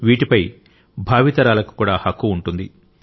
వీటిపై భావి తరాలకు కూడా హక్కు ఉంటుంది